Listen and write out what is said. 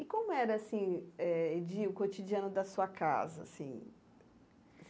E como era assim eh de o cotidiano da sua casa assim?